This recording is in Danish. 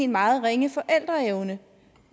meget ringe forældreevne